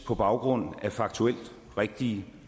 på baggrund af faktuelt rigtige